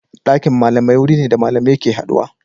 Dakin malamai wuri ne da malamai ke haduwa.